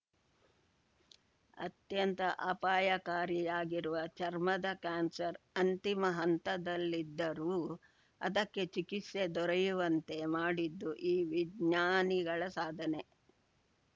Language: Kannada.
ಅತ್ಯಂತ ಅಪಾಯಕಾರಿಯಾಗಿರುವ ಚರ್ಮದ ಕ್ಯಾನ್ಸರ್‌ ಅಂತಿಮ ಹಂತದಲ್ಲಿದ್ದರೂ ಅದಕ್ಕೆ ಚಿಕಿತ್ಸೆ ದೊರೆಯುವಂತೆ ಮಾಡಿದ್ದು ಈ ವಿಜ್ಞಾನಿಗಳ ಸಾಧನೆ